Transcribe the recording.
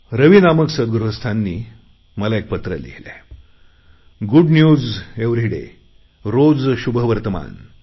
रवी नामक सद्गृहस्थांनी मला पत्र लिहिले आहे गुड न्यूज एव्हरी डे रोज शुभवर्तमान